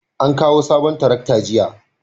an kawo sabon tarakta jiya